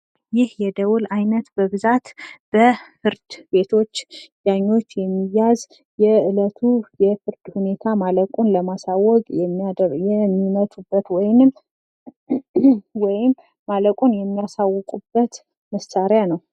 ይህ የደወል ዓይነት በብዛት በፍርድ ቤት ዳኞች የሚያዝ የዕለቱ የፍርድ ሁኔታ ማለቁን ለማሳወቅ የሚመቱበት ወይም ማለቁን የሚያሳውቁበት መሳሪያ ነው።